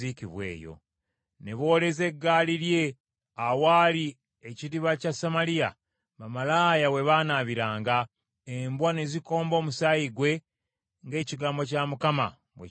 Ne booleza eggaali lye awaali ekidiba kya Samaliya, bamalaaya we baanaabiranga, embwa ne zikomba omusaayi gwe, ng’ekigambo kya Mukama bwe kyayogerwa.